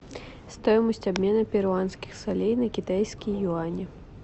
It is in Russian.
стоимость обмена перуанских солей на китайские юани